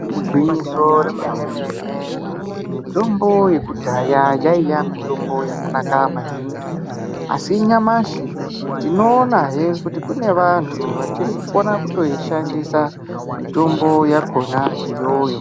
Igwinyiso remene-mene, mitombo yekudhaya yaiya mitombo yakanaka maningi asi nyamashi tinoona heee kuti kune vantu vachiri kukona kutoishandisa mitombo yakhona iyoyo.